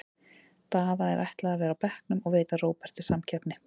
Daða er ætlað að vera á bekknum og veita Róberti samkeppni.